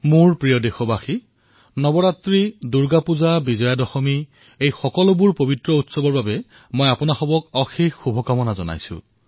মোৰ মৰমৰ দেশবাসীসকল নৱৰাত্ৰিয়েই হওক দুৰ্গা পূজাই হওক বিজয়া দশমীয়েই হওক এই পৱিত্ৰ পৰ্ব উপলক্ষে মই আপোনালোক সকলোকে হৃদয়েৰে অশেষ শুভকামনা জনাইছোঁ